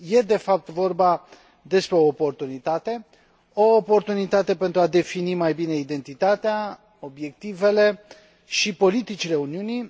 Este, de fapt, vorba despre o oportunitate o oportunitate pentru a defini mai bine identitatea, obiectivele și politicile Uniunii.